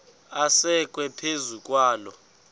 asekwe phezu kwaloo